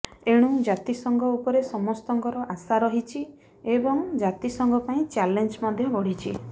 ଏଣୁ ଜାତିସଂଘ ଉପରେ ସମସ୍ତଙ୍କର ଆଶା ରହିଛି ଏବଂ ଜାତିସଂଘ ପାଇଁ ଚାଲେଞ୍ଜ ମଧ୍ୟ ବଢ଼ିଛି